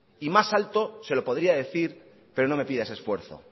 y más alto se lo podría decir pero no me pida ese esfuerzo